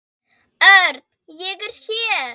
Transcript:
Örn, ég er hér